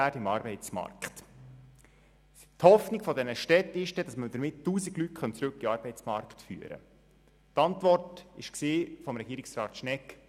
Und noch ein letzter Punkt zum Votum von Kollege Müller der SVP: Sie haben gesagt, es handle sich hier nur um den ersten Schritt.